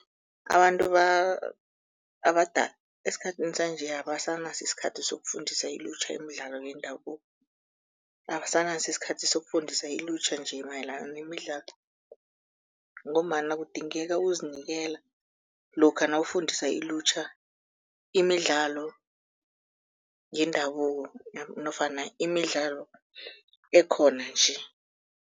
Abantu abadala esikhathini sanje abasanaso isikhathi sokufundisa ilutjha imidlalo yendabuko, abasanaso sikhathi sokufundisa ilutjha nje mayelana nemidlalo ngombana kudingeka ukuzinikela lokha nawufundisa ilutjha imidlalo yendabuko nofana imidlalo ekhona nje.